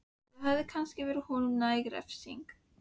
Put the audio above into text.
Og það hefði kannski verið honum næg refsing.